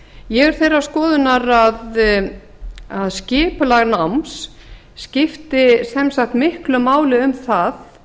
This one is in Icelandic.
ég er þeirrar skoðunar að skipulag náms skipti sem sagt miklu máli um það